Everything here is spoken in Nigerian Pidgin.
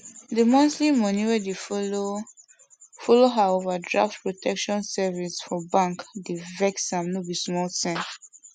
the monthly money wey dey follow follow her overdraft protection service for bank dey vex am no be small thing